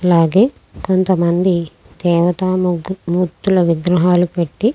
అలాగే కొంతమంది దవతా మూతు మూర్తుల విగ్రహాలు పెట్టి.